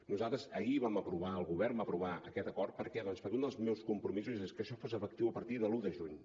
nosaltres ahir vam aprovar el govern va aprovar aquest acord per què doncs perquè un dels meus compromisos és que això fos efectiu a partir de l’un de juny